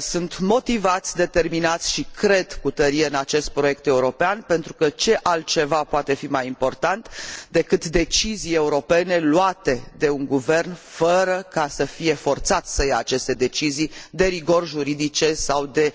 sunt motivați, determinați și cred cu tărie în acest proiect european, pentru că ce altceva poate fi mai important decât deciziile europene luate de un guvern, fără a fi forțat să ia aceste decizii de rigori juridice sau de